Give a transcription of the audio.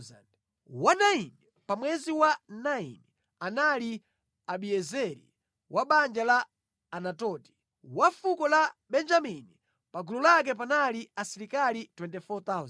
Wa 9 pa mwezi wa 9 anali Abiezeri wa banja la Anatoti, wa fuko la Benjamini. Pa gulu lake panali asilikali 24,000.